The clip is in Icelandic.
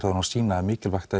þá má sýna að mikilvægt